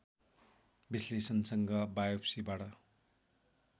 विश्लेषणसँग बायोप्सीबाट